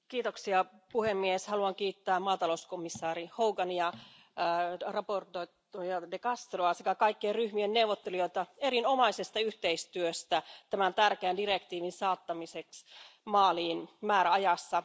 Arvoisa puhemies, haluan kiittää maatalouskomissaari Hogania ja esittelijä De Castroa sekä kaikkien ryhmien neuvottelijoita erinomaisesta yhteistyöstä tämän tärkeän direktiivin saattamiseksi maaliin määräajassa.